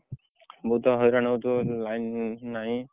ବହୁତ ହଇରାଣ ହଉଥିବ ବୋଧେ line ନାହିଁ।